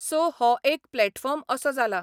So हो एक platform असो जाला.